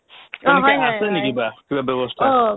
তেনেকে আছে নেকি কিবা কিবা ব্যৱস্থা